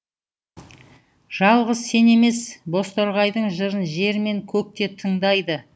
жалғыз сен емес бозторғайдың жырын жер мен көк те тыңдайды